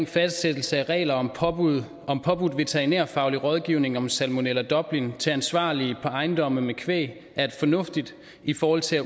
fastsættelse af regler om påbudt om påbudt veterinærfaglig rådgivning om salmonella dublin til ansvarlige på ejendomme med kvæg er fornuftigt i forhold til at